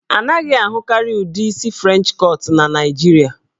A naghị ahụkarị ụdị isi French cut na Naijiria.